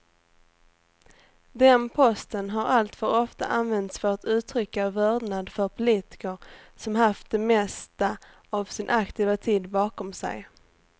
Den posten har alltför ofta använts för att uttrycka vördnad för politiker som haft det mesta av sin aktiva tid bakom sig.